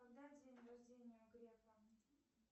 когда день рождения у грефа